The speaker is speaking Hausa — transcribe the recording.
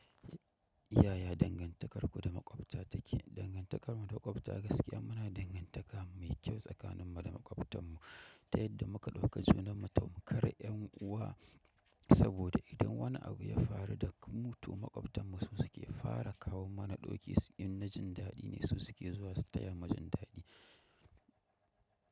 Yaya dangantakarku da maƙwabta take? Dangantakar mu da maƙwabta gaskiya muna dangantaka mai kyau tsakanin mu da maƙwabtan mu, ta yadda muka ɗauka junanmu tamkar yan uwa, saboda idan wani abu ya faru da mutum maƙwabtan mu su suke fara kawo mana ɗoki, in na jin daɗi ne su suke zuwa su taya mu jin daɗi.